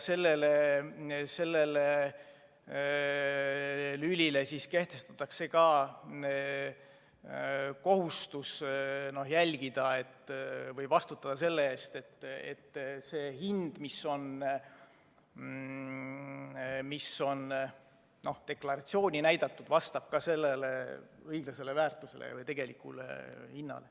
Sellele lülile kehtestatakse ka kohustus jälgida seda või vastutada selle eest, et see hind, mis on deklaratsioonis näidatud, vastab õiglasele väärtusele või tegelikule hinnale.